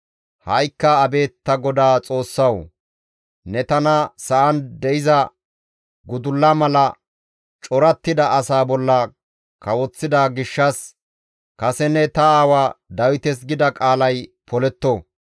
Ha7ikka abeet ta GODAA Xoossawu! Ne tana sa7an de7iza gudulla mala corattida asaa bolla kawoththida gishshas kase ne ta aawa Dawites gida qaalay poletto.